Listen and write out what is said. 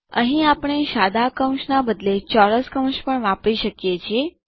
અહીં આપણે સાદા કૌંસના એટલે કે બદલે ચોરસ કૌંસ એટલે કે પણ વાપરી શકીએ છીએ